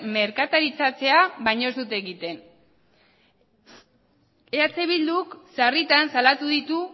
merkataritzatzea baino ez dute egiten eh bilduk sarritan salatu ditu